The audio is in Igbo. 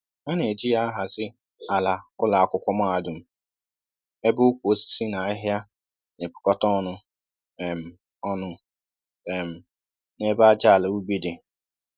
A na eji ya ahazi àlà ụlọ akwụkwọ mahadum, ébé ukwu osisi na ahịhịa nepukọta ọnụ um ọnụ um n'ebe ájá àlà ubi di